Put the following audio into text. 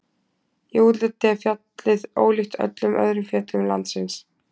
Í útliti er fjallið ólíkt öllum öðrum fjöllum landsins.